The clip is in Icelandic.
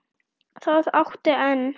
Það áttu enn.